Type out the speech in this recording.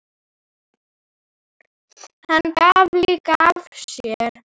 Hann gaf líka af sér.